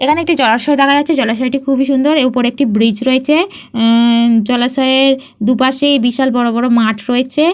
এখানে একটি জলাশয় দেখা যাচ্ছে। জলাশয়টি খুবই সুন্দর। এর ওপরে একটি ব্রিজ রয়েছে। এহ জলাশয়ের দুপাশেই বিশাল বড় বড় মাঠ রয়েছে।